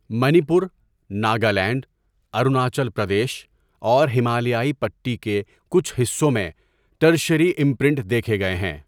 منی پور، ناگالینڈ، اروناچل پردیش، اور ہمالیائی پٹی کے کچھ حصوں میں ٹرشیری امپرنٹ دیکھے گئے ہیں۔